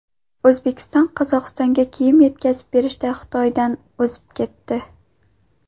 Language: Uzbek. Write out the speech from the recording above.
O‘zbekiston Qozog‘istonga kiyim yetkazib berishda Xitoydan o‘zib ketdi.